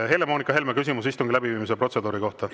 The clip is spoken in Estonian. Helle-Moonika Helme, küsimus istungi läbiviimise protseduuri kohta.